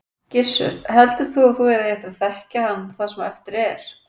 Gissur: Heldur þú að þú eigir eftir að þekkja hann það sem eftir er?